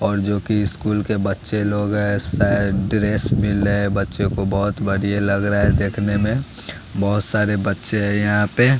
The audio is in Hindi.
और जोकि स्कूल के बच्चे लोग हैं शायद ड्रेस मिल रहे बच्चे को बहोत बढ़िया लग रहा है देखने में बहोत सारे बच्चे हैं यहां पे।